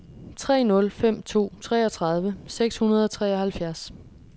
tre nul fem to treogtredive seks hundrede og treoghalvfjerds